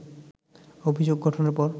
অভিযোগ গঠনের পর